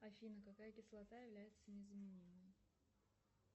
афина какая кислота является незаменимой